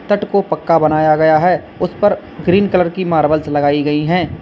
तट को पक्का बनाया गया है उस पर ग्रीन कलर की मार्बल्स लगाई गई हैं।